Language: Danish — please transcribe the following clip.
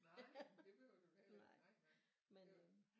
Nej men det behøver du da heller ikke nej nej